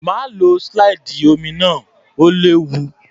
Má lo slide omi náà, ó léwu.